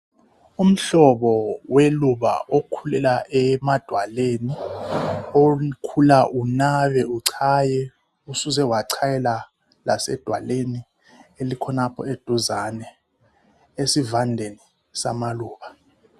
Umhlobo weluba okhulela emadwaleni okhula unabe uchaye, usuze wachayela lasedalweni elikhonapho eduzane esivandeni samaluba.